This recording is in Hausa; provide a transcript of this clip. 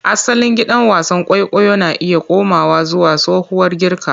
Asalin gidan wasan kwaikwayo na iya komawa zuwa tsohuwar Girka.